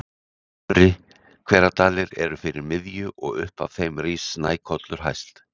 Efri-Hveradalir eru fyrir miðju, og upp af þeim rís Snækollur hæst.